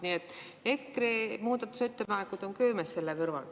Nii et EKRE muudatusettepanekud on köömes selle kõrval.